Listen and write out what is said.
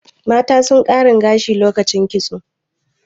mata sun karin gashi lokacin kitso